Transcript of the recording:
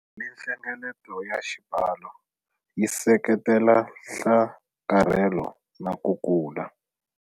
Malinhlengeleto ya xibalo yi seketela nhlakarhelo na ku kula.